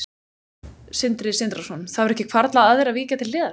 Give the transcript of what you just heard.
Sindri Sindrason: Það hefur ekki hvarflað að þér að víkja til hliðar?